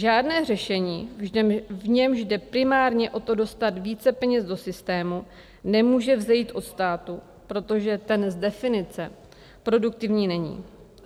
Žádné řešení, v němž jde primárně o to dostat více peněz do systému, nemůže vzejít od státu, protože ten z definice produktivní není.